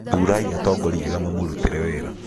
thurai atongoria ega mamũrũtĩre wĩra